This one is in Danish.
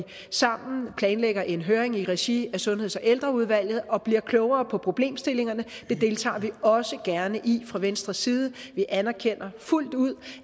sammen planlægger en høring i regi af sundheds og ældreudvalget og bliver klogere på problemstillingerne det deltager vi også gerne i fra venstres side vi anerkender fuldt ud